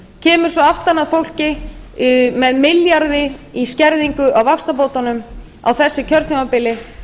kemur svo aftan að fólki með milljarði í skerðingu á vaxtabótunum á þessu kjörtímabili